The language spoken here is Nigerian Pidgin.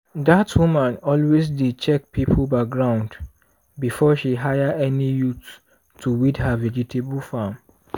dat woman always dey check people background before she hire any youth to weed her vegetable farm.